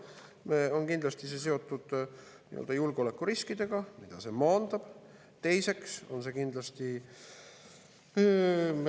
Teiseks on see kindlasti seotud sellega, mille kohta on välja toodud andmed eilses Eesti Ekspressis.